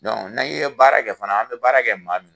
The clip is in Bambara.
ni ye baara kɛ fana, an be baara kɛ maa min